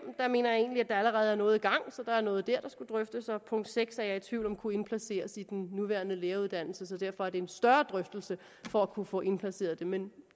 mener jeg egentlig at der allerede er noget i gang så der er noget der der skal drøftes og punkt seks er jeg i tvivl om kunne indplaceres i den nuværende læreruddannelse så derfor er det en større drøftelse for at kunne få det indplaceret men